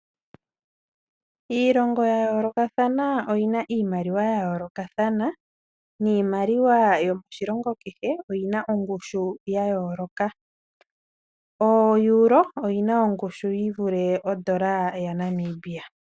Iilongo yayoolokathana omuna iimaliwa ya yoolokathana, niimaliwa yomoshilongo kehe oyina ongushu yayooloka. OEuro oyina ongushu yivule odola yaNamibia.